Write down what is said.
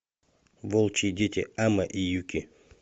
волчьи дети амэ и юки